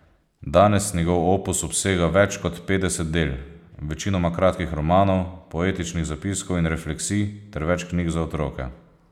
Danes njegov opus obsega več kot petdeset del, večinoma kratkih romanov, poetičnih zapiskov in refleksij ter več knjig za otroke.